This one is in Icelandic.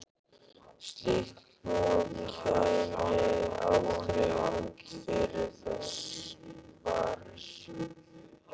Slíkt hnoð kæmi aldrei út fyrir þess varir.